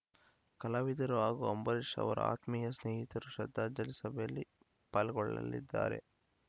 ಕಲಾವಿದರು ಹಾಗೂ ಅಂಬರೀಷ್‌ ಅವರ ಆತ್ಮೀಯ ಸ್ನೇಹಿತರು ಶ್ರದ್ಧಾಂಜಲಿ ಸಭೆಯಲ್ಲಿ ಪಾಲ್ಗೊಳ್ಳಲಿದ್ದಾರೆ